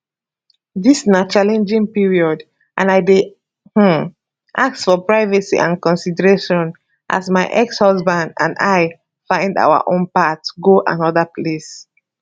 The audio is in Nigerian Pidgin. dis na challenging period and i dey um ask for privacy and consideration as my exhusband and i find our own path go anoda place